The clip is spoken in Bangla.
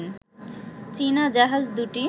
চীনা জাহাজ দুটি